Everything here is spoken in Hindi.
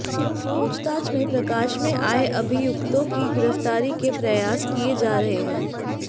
पूछताछ में प्रकाश में आये अभियुक्तों की गिरफ्तारी के प्रयास किये जा रहे हैं